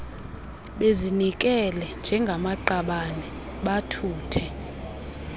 bezinikele njengamaqabane bathuthe